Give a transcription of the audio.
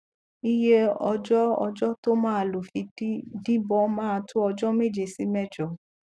iye ọjọ ọjọ tó maa lò fi di díbọn máa tó ọjọ méje sí mẹjọ